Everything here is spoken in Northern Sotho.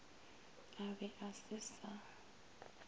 a be a se sa